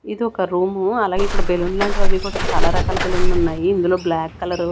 ఇదొక రూము అలాగే ఇక్కడ బెలూన్లు లాంటివవీ కూడా చాలా రకాల బెలూన్లున్నాయి ఇందులో బ్లాక్ కలరు --